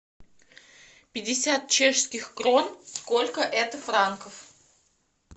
пятьдесят чешских крон сколько это франков